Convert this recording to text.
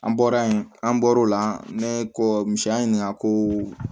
An bɔra yen an bɔr'o la ne kɔ musoya ɲininka ko